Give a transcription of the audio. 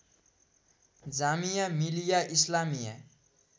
Jamia Millia Islamia